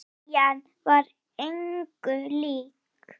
Eljan var engu lík.